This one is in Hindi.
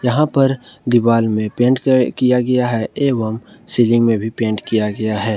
यहां पर दीवाल में पेंट किया गया है एवं सीलिंग में भी पेंट किया गया है ।